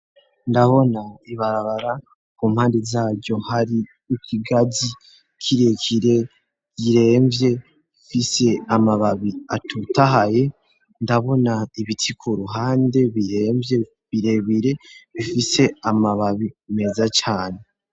Ndabona ibarabara ku mpandi zaryo hari ikigazi kirekire yiremvye mfise amababi atutahaye ndabona ibiti ku ruhande biremvye birebire bifise amababi meza cane.